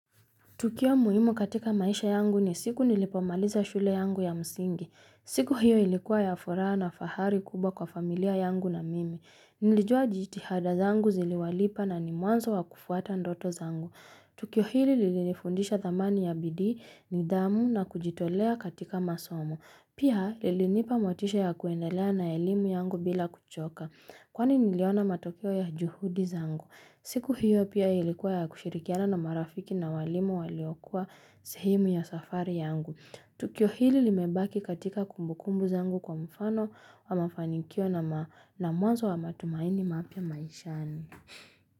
Tukio muhimu katika maisha yangu ni siku nilipomaliza shule yangu ya msingi. Siku hiyo ilikuwa ya furaha na fahari kubwa kwa familia yangu na mimi. Nilijua jitihada zangu ziliwalipa nani mwanzo wa kufuata ndoto zangu. Tukio hili lilifundisha thamani ya bidii, nithamu na kujitolea katika masomo. Pia lilinipa motisha ya kuendelea na elimu yangu bila kuchoka. Kwani niliona matokeo ya juhudi zangu. Siku hiyo pia ilikuwa ya kushirikiana na marafiki na walimu waliokua sehemu ya safari yangu. Tukio hili limebaki katika kumbukumbu zangu kwa mfano wa mafanikio na mwanzo wa matumaini mapya maishani.